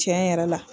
Tiɲɛ yɛrɛ la